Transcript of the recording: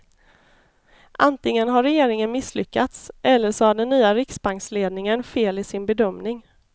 Antingen har regeringen misslyckats eller så har den nya riksbanksledningen fel i sin bedömning.